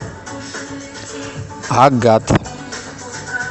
агат